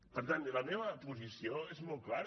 per tant la meva posició és molt clara